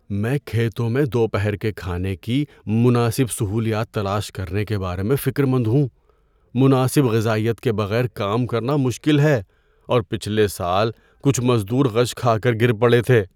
‏میں کھیتوں میں دوپہر کے کھانے کی مناسب سہولیات تلاش کرنے کے بارے میں فکرمند ہوں۔ مناسب غذائیت کے بغیر کام کرنا مشکل ہے، اور پچھلے سال کچھ مزدور غش کھا کر گر پڑے تھے۔